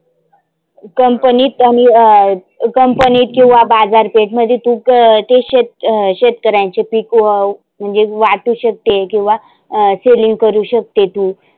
company त आणि अं company त किंवा बाजार पेठ मध्ये तु ते शेत अं शेतकऱ्याचे पिक व म्हणजे वाटु शकते किंवा selling करु शकते.